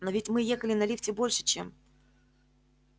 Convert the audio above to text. но ведь мы ехали на лифте больше чем